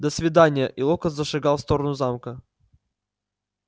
до свидания и локонс зашагал в сторону замка